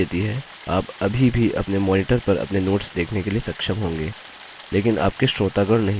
आप अभी भी अपने मॉनिटर पर अपने नोट्स देखने के लिए सक्षम होंगे लेकिन आपके श्रोतागण नहीं